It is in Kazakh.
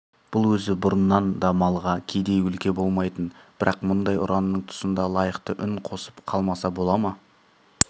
бұл өзі бұрыннан да малға кедей өлке болмайтын бірақ мұндай ұранның тұсында лайықты үн қосып қалмаса бола ма